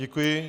Děkuji.